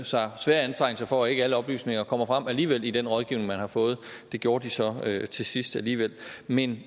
sig svære anstrengelser for at ikke alle oplysninger kommer frem alligevel i den rådgivning man har fået det gjorde de så til sidst alligevel men